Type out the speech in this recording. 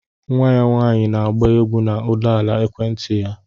Nwa ya nwanyị na-agba egwú na ụdaolu ekwenti ya